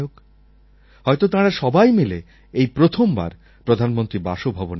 হয়তো তাঁরা সবাই মিলে এই প্রথমবার প্রধানমন্ত্রীর বাসভবনে আসছেন